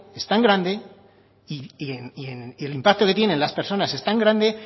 es tan grande y el impacto que tiene en las personas es tan grande